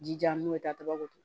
Jijan n'o ye tataw